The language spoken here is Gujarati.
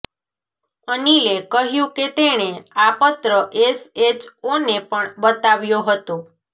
અનિલે કહ્યું કે તેણે આ પત્ર એસએચઓને પણ બતાવ્યો હતો